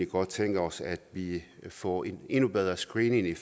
godt tænke os at vi får en endnu bedre screening i